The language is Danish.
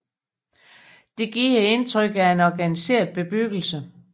Det giver indtrykket af en organiseret bebyggelse